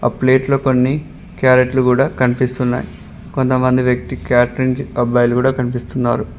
ప్లేట్లో కొన్ని క్యారెట్లు కూడా కనిపిస్తున్నాయి కొంతమంది వ్యక్తి క్యాటరింగ్ అబ్బాయిలు కూడా కనిపిస్తున్నారు.